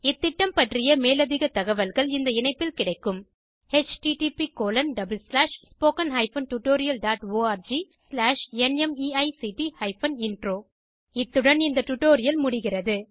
இந்த திட்டம் பற்றிய மேலதிக தகவல்கள் இந்த இணைப்பில் கிடைக்கும் httpspoken tutorialorgNMEICT Intro இத்துடன் இந்த டுடோரியல் முடிகிறது